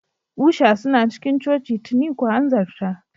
Usha suna cikin coci tuni, ku hanzarta.